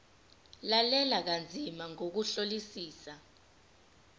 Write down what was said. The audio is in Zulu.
lalela kanzima ngokuhlolisisa